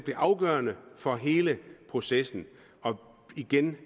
afgørende for hele processen og igen